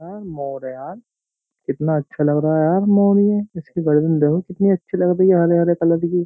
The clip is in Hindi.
हां मोर है यार। कितना अच्छा लग रहा यार मोर ये। इसकी गर्दन देखो कितनी अच्छी लग रही है हरे हरे कलर की।